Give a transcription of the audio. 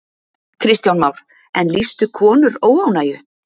Kristján Már: En lýstu konur óánægju?